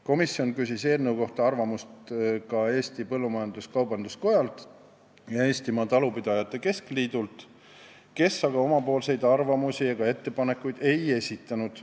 Komisjon küsis eelnõu kohta arvamust ka Eesti Põllumajandus-Kaubanduskojalt ja Eestimaa Talupidajate Keskliidult, kes aga omapoolseid arvamusi ega ettepanekuid ei esitanud.